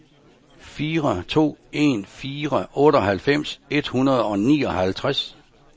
fire to en fire otteoghalvfems et hundrede og nioghalvtreds